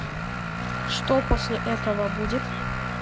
что после этого будет